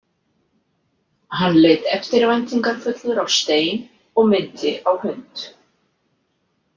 Hann leit eftirvæntingarfullur á Stein og minnti á hund.